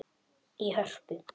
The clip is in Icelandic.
í Hörpu.